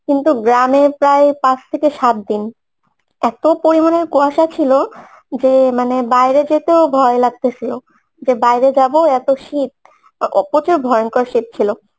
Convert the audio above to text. কিন্তু গ্রামে প্রায় পাঁচ থেকে সাত দিন এত্ত পরিমানে কুয়াশা ছিলো যে মানে বাইরে যেতেও ভয় লাগতেসিলো যে বাইরে যাবো এতো শীত ও ও প্রচুর ভয়ঙ্কর শীত ছিলো